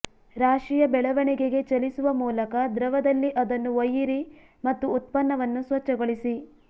ರಾಶಿಯ ಬೆಳವಣಿಗೆಗೆ ಚಲಿಸುವ ಮೂಲಕ ದ್ರವದಲ್ಲಿ ಅದನ್ನು ಒಯ್ಯಿರಿ ಮತ್ತು ಉತ್ಪನ್ನವನ್ನು ಸ್ವಚ್ಛಗೊಳಿಸಿ